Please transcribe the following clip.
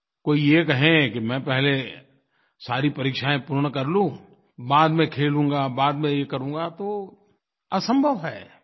कोई ये कहे कि मैं पहले सारी परीक्षायें पूर्ण कर लूँ बाद में खेलूँगा बाद में ये करूँगा तो असंभव है